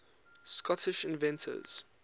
scottish inventors